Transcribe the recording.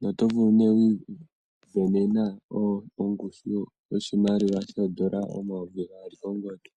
noto vulu okuu isindanena ongushu yoondola omayovi gaali kongodhi.